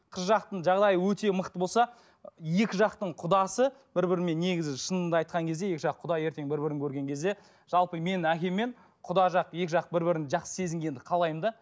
қыз жақтың жағдайы өте мықты болса екі жақтың құдасы бір бірімен негізі шынымды айтқан кезде екі жақ құда ертең бір бірін көрген кезде жалпы менің әкеммен құда жақ екі жақ бір бірін жақсы сезінгенді қалаймын да